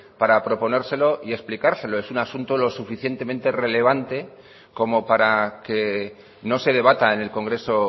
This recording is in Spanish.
para proponérselo y explicárselo es un asunto lo suficientemente relevante como para que no se debata en el congreso